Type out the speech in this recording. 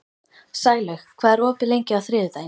Sælaug, hvað er opið lengi á þriðjudaginn?